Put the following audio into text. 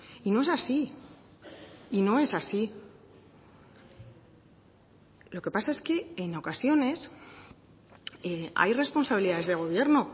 y no es así y no es así lo que pasa es que en ocasiones hay responsabilidades de gobierno